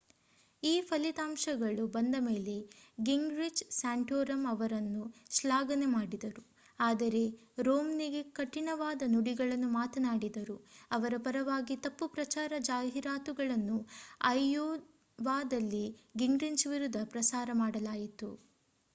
ಈ ಫಲಿತಂಶಗಳು ಬಂದ ಮೇಲೆ ಗಿಂಗ್ರಿಚ್ ಸ್ಯಾಂಟೋರಮ್ ಅವರನ್ನು ಶ್ಲಾಘನೆ ಮಾಡಿದರು ಆದರೆ ರೋಮ್ನಿಗೆ ಕಠಿಣವಾದ ನುಡಿಗಳನ್ನು ಮಾತನಾಡಿದರು ಅವರ ಪರವಾಗಿ ತಪ್ಪು ಪ್ರಚಾರ ಜಾಹಿರಾತುಗಳನ್ನು ಐಯೋವಾದಲ್ಲಿ ಗಿಂಗ್ರಿಚ್ ವಿರುದ್ಧ ಪ್ರಸಾರ ಮಾಡಲಾಯಿತು